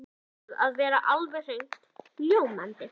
ið brunna, upp úr honum skagaði sviðinn leðursófi.